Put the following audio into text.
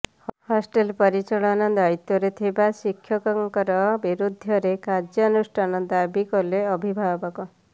hostel ପରିଚାଳନା ଦାୟିତ୍ୱରେ ଥିବା ଶିକ୍ଷକଙ୍କର ବିରୁଦ୍ଧରେ କାର୍ୟ୍ୟନୁଷ୍ଠାନ ଦାବୀ କଲେ ଅଭିଭାବକ